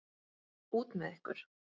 Út með ykkur!